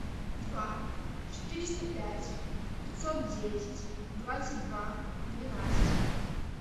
два четыреста пять пятьсот десять двадцать два двенадцать